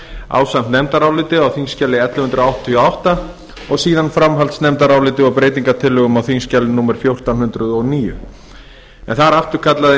ásamt nefndaráliti á þingskjali ellefu hundruð áttatíu og átta og síðan framhaldsnefndaráliti og breytingartillögum á þingskjali fjórtán hundruð og níu en þar afturkallaði